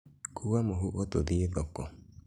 Kuua mũhuko tũthĩĩ thoko